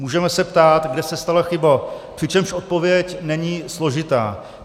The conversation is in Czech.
Můžeme se ptát, kde se stala chyba, přičemž odpověď není složitá.